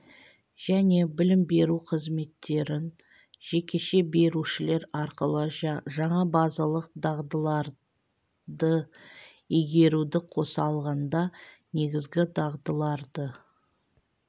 және білім беру қызметтерін жекеше берушілер арқылы жаңа базалық дағдыларды игеруді қоса алғанда негізгі дағдыларды